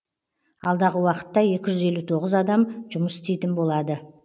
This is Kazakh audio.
алдағы уақытта екі жүз елу тоғыз адам жұмыс істейтін болады